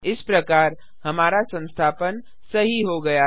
इस प्रकार हमारा संस्थापन सही हो गया है